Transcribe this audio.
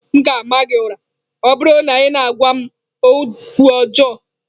M ga-ama gị ụra, ọ bụrụ na ị na-agwa m okwu ọjọọ.